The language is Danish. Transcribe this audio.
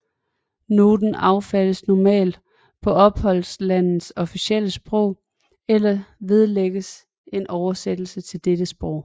Noten affattes normalt på opholdslandets officielle sprog eller vedlægges en oversættelse til dette sprog